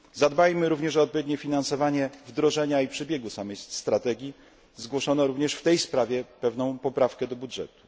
Zadbajmy również o odpowiednie finansowanie wdrożenia i przebiegu samej strategii zgłoszono również w tej sprawie pewną poprawkę do budżetu.